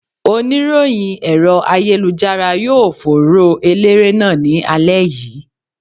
Oníròyìn ẹ̀rọ ayélujára yóò fòòró Eléré náà ní alẹ́ yìí.